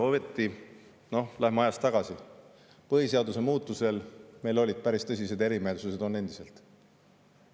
Ometi – noh, läheme ajas tagasi – põhiseaduse muutmisel meil olid päris tõsised erimeelsused, on endiselt.